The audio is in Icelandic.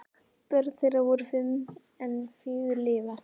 Börn þeirra voru fimm en fjögur lifa.